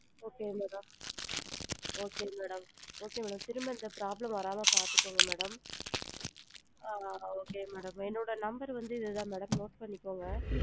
Okay madam okay madam, okay madam திரும்ப இந்த problem வராம பாத்துக்கோங்க madam ஆ okay madam என்னோட number வந்து இது தான் madam note பண்ணிக்கோங்க.